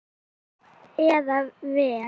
Nú eða verr.